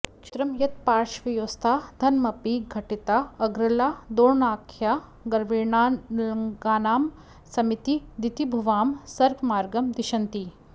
चित्रं यत्पार्श्वयोस्ता धनमपि घटिता अर्गला दोर्गणाख्या गर्वेणानर्गलानां समिति दितिभुवां स्वर्गमार्गं दिशन्ति